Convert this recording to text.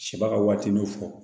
Sibaga ka waati n'u fɔ